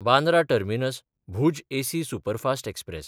Bandra टर्मिनस–भूज AC superfast express